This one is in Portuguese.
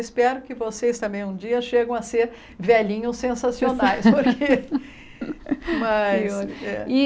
Espero que vocês também um dia cheguem a ser velhinhos sensacionais porque mas.